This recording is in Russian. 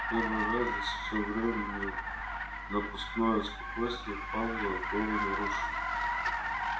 в первый раз за всё время напускное спокойствие пауэлла было нарушено